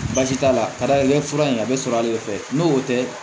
Baasi t'a la ka d'ale fura in a bɛ sɔrɔ ale fɛ n'o tɛ